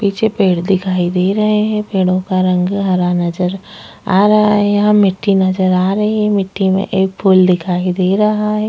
पीछे पेड़ दिखाई दे रहें हैं पेड़ो का रंग हरा नजर आ रहा है यहाँ मिट्टी नजर आ रही है मिट्टी में एक फूल दिखाई दे रहा है।